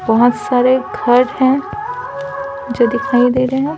बहुत सारे घर हैं जो दिखाई दे रहे है।